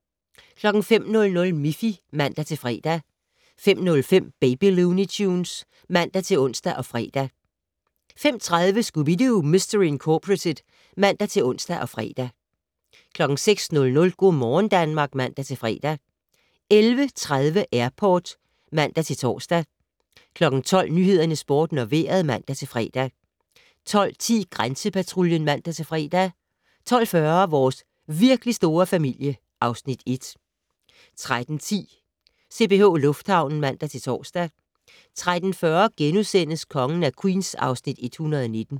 05:00: Miffy (man-fre) 05:05: Baby Looney Tunes (man-ons og fre) 05:30: Scooby-Doo! Mistery Incorporated (man-ons og fre) 06:00: Go' morgen Danmark (man-fre) 11:30: Airport (man-tor) 12:00: Nyhederne, Sporten og Vejret (man-fre) 12:10: Grænsepatruljen (man-fre) 12:40: Vores virkelig store familie (Afs. 1) 13:10: CPH Lufthavnen (man-tor) 13:40: Kongen af Queens (Afs. 119)*